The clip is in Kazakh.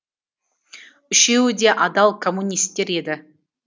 үшеуі де адал коммунистер еді